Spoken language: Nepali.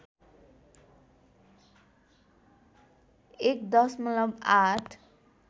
१ दशमलव ८